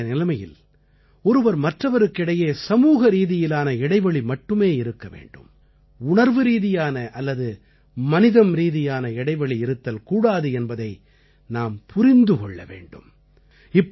தற்போதைய நிலைமையில் ஒருவர் மற்றவருக்கு இடையே சமூகரீதியிலான இடைவெளி மட்டுமே இருக்க வேண்டும் உணர்வுரீதியான அல்லது மனிதம்ரீதியான இடைவெளி இருத்தல் கூடாது என்பதை நாம் புரிந்து கொள்ள வேண்டும்